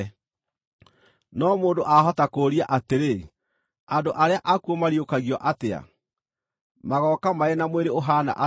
No mũndũ ahota kũũria atĩrĩ, “Andũ arĩa akuũ mariũkagio atĩa? Magooka marĩ na mwĩrĩ ũhaana atĩa?”